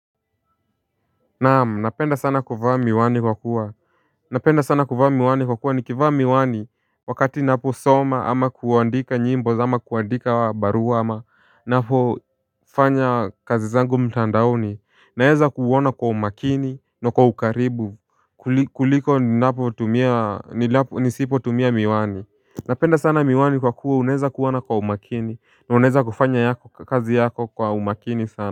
Naamu napenda sana kuvaa miwani kwa kuwa Napenda sana kuvaa miwani kwa kuwa nikivaa miwani wakati naposoma ama kuandika nyimbo ama kuandika barua ama napo fanya kazi zangu mtandaoni naeza kuona kwa umakini na kwa ukaribu kuliko nisipo tumia miwani Napenda sana miwani kwa kuwa unaeza kuona kwa umakini na unaeza kufanya kazi yako kwa umakini sana.